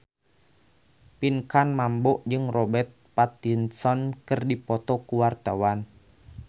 Pinkan Mambo jeung Robert Pattinson keur dipoto ku wartawan